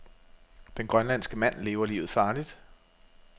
Den grønlandske mand lever livet farligt.